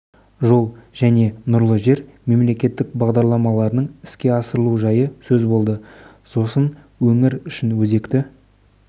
жол және нұрлы жер мемлекеттік бағдарламаларының іске асырылу жайы сөз болады сосын өңір үшін өзекті